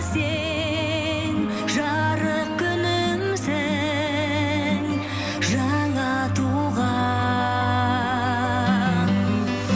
сен жарық күнімсің жаңа туған